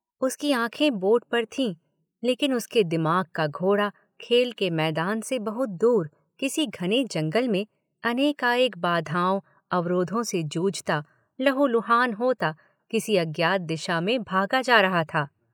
उसकी आँखों बोर्ड पर भी लेकिन उसके दिमाग का घोड़ा खेल के मैदान से बहुत दूर किसी घने जंगल में अनेकानेक बाधाओं, अवरोधों से जूझता, लहूलुहान होता किसी अज्ञात दिशा में भागा जा रहा था।